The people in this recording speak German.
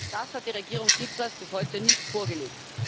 Das hat die Regierung Tsipras bis heute nicht vorgelegt.